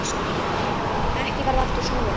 Ekki varð aftur snúið.